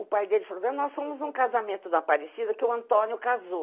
O pai dele falou, nós fomos em um casamento da parecida que o Antônio casou.